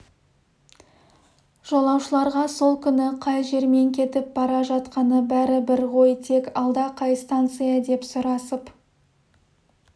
жолаушыларға сол күні қай жермен кетіп бара жатқаны бәрібір ғой тек алда қай станция деп сұрасып